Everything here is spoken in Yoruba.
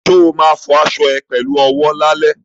Ṣo ma fọ aṣọ ẹ pẹ̀lú owó lálẹ́?